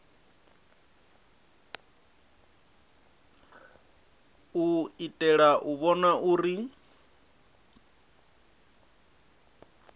u itela u vhona uri